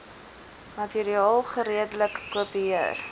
materiaal geredelik kopieer